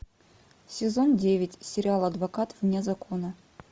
сезон девять сериал адвокат вне закона